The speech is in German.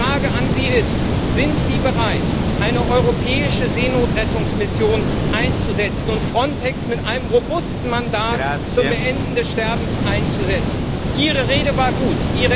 Die Frage an Sie ist Sind Sie bereit, eine europäische Seenotrettungsmission einzusetzen und Frontex mit einem robusten Mandat zum Beenden des Sterbens auszustatten? Ihre Rede war gut.